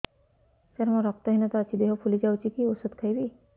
ସାର ମୋର ରକ୍ତ ହିନତା ଅଛି ଦେହ ଫୁଲି ଯାଉଛି କି ଓଷଦ ଖାଇବି